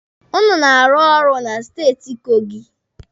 Ụnụ na-arụ na steeti Kogi.